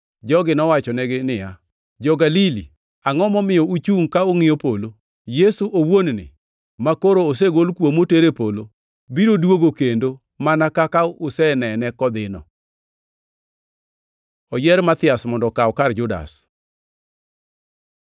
Jogi nowachonegi niya, “Jo-Galili, angʼo momiyo uchungʼ ka ungʼiyo polo? Yesu owuon-ni, makoro osegol kuomu oter e polo, biro duogo kendo, mana kaka usenene kodhino.” Oyier Mathias mondo okaw kar Judas